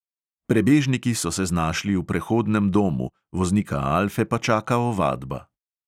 Prebežniki so se znašli v prehodnem domu, voznika alfe pa čaka ovadba.